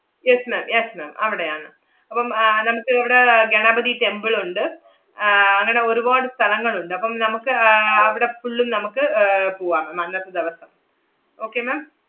yes ma'am yes ma'am അവടെയാണ്. അപ്പം ആഹ് നമ്മക്ക് അവടെ ഗണപതി temple ഒണ്ട്. ആഹ് അങ്ങനെ ഒരുവാട് സ്ഥലങ്ങൾ ഒണ്ട്. അപ്പം നമുക്ക് ആഹ് അവടെ full ഉം നമ്മക്ക് ഏർ പൂവാം അന്നത്തെ ദെവസം. okay ma'am?